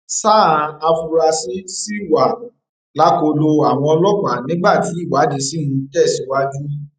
sáà àfúrásì ṣì wà lákọlò àwọn ọlọpàá nígbà tí ìwádìí ṣì ń tẹsíwájú